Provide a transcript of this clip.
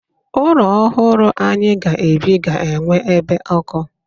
Ụlọ ọhụrụ anyị ga-ebi ga-enwe ebe ọkụ.